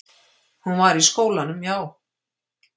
Hún var í skólanum, já.